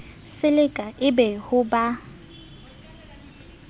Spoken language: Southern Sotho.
silika e be ho ba